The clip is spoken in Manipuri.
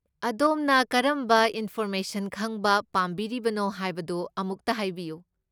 ꯑꯗꯣꯝꯅ ꯀꯔꯝꯕ ꯏꯟꯐꯣꯔꯃꯦꯁꯟ ꯈꯪꯕ ꯄꯥꯝꯕꯤꯔꯤꯕꯅꯣ ꯍꯥꯏꯕꯗꯨ ꯑꯃꯨꯛꯇ ꯍꯥꯏꯕꯤꯌꯨ꯫